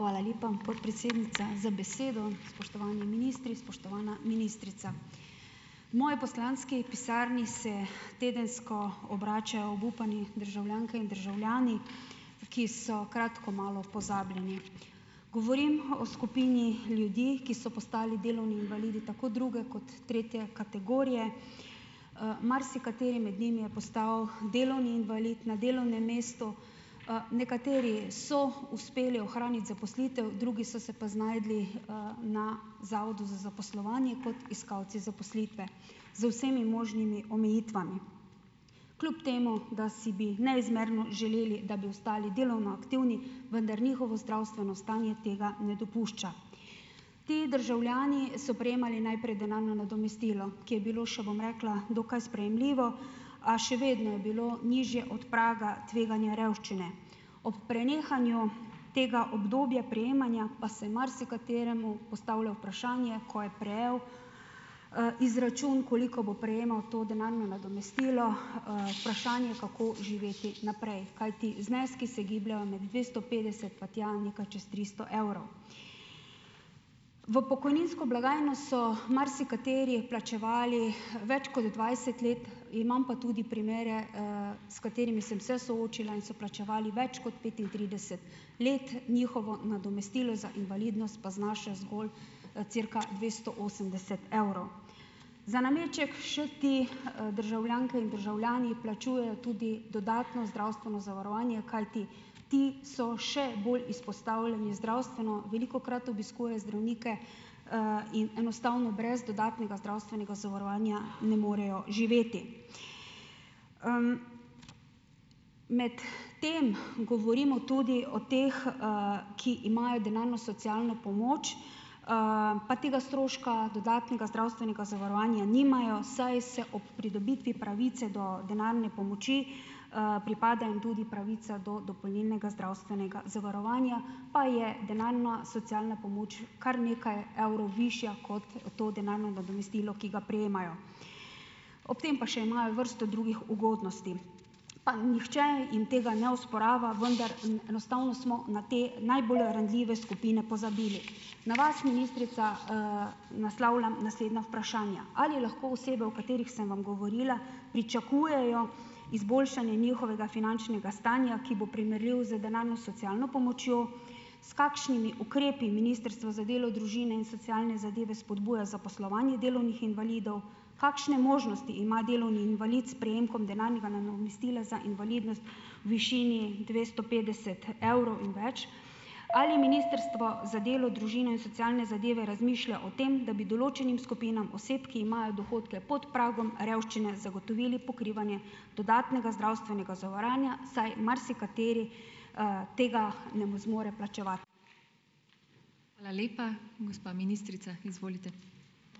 Hvala lepa, podpredsednica za besedo. Spoštovani ministri, spoštovana ministrica. V moji poslanski pisarni se tedensko obračajo obupani državljanke in državljani, ki so kratko malo pozabljeni. Govorim o skupini ljudi, ki so postali delovni invalidi tako druge kot tretje kategorije. Marsikateri med njimi je postal delovni invalid na delovnem mestu. Nekateri so uspeli ohraniti zaposlitev, drugi so se pa znašli, na Zavodu za zaposlovanje kot iskalci zaposlitve. Z vsemi možnimi omejitvami. Kljub temu da si bi neizmerno želeli, da bi ostali delovno aktivni, vendar njihovo zdravstveno stanje tega ne dopušča. Ti državljani so prejemali najprej delovno nadomestilo, ki je bilo še, bom rekla, dokaj sprejemljivo, a še vedno je bilo nižje od praga tveganja revščine. Ob prenehanju tega obdobja prejemanja pa se marsikateremu postavlja vprašanje, ko je prejel, izračun, koliko bo prejemal to denarno nadomestilo, vprašanje, kako živeti naprej, kajti zneski se gibljejo med dvesto petdeset pa tja nekaj čez tristo evrov. V pokojninsko blagajno so marsikateri plačevali več kot dvajset let, imam pa tudi primere, s katerimi sem se soočila in so plačevali več kot petintrideset let, njihovo nadomestilo za invalidnost pa znaša zgolj, cirka dvesto osemdeset evrov. Za nameček še ti, državljanke in državljani plačujejo tudi dodatno zdravstveno zavarovanje, kajti ti so še bolj izpostavljeni zdravstveno, velikokrat obiskujejo zdravnike, in enostavno brez dodatnega zdravstvenega zavarovanja ne morejo živeti. Medtem govorimo tudi o teh, ki imajo denarno socialno pomoč, pa tega stroška dodatnega zdravstvenega zavarovanja nimajo, saj se ob pridobitvi pravice do denarne pomoči, pripada jim tudi pravica do dopolnilnega zdravstvenega zavarovanja, pa je denarna socialna pomoč kar nekaj evrov višja kot to denarno nadomestilo, ki ga prejemajo. Ob tem pa še imajo vrsto drugih ugodnosti, pa nihče jim tega ne osporava, vendar enostavno smo na te najbolj ranljive skupine pozabili. Na vas, ministrica, naslavljam naslednja vprašanja: Ali lahko osebe, o katerih sem vam govorila, pričakujejo izboljšanje njihovega finančnega stanja, ki bo primerljiv z denarno socialno pomočjo? S kakšnimi ukrepi Ministrstvo za delo, družine in socialne zadeve spodbuja zaposlovanje delovnih invalidov? Kakšne možnosti ima delovni invalid s prejemkom denarnega nadomestila za invalidnost v višini dvesto petdeset evrov in več? Ali Ministrstvo za delo, družine in socialne zadeve razmišlja o tem, da da bi določenim skupinam oseb, ki imajo dohodke pod pragom revščine, zagotovili pokrivanje dodatnega zdravstvenega zavarovanja, saj marsikateri, tega ne zmore plačevati.